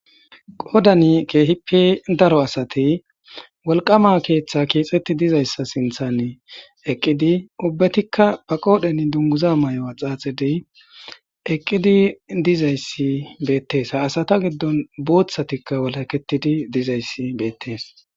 qodani keehipe daro asate wolqama keeththa keexetti dizayssa sinthane eqqidi ubbetikka ba qoodhen dunguza may7oa xaaxedey eqqidi dizayssi beettees ha asata giddon booththatikka walaketidi dizayssi beettees